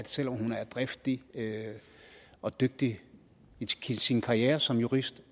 selv om hun er driftig og dygtig i sin karriere som jurist